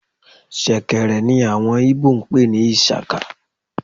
shekèrè ní awọn Igbo n pe ni ishaka